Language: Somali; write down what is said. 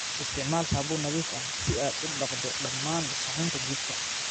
Isticmaal saabuun nadiif ah si aad u dhaqdo dhammaan suxuunta jikada.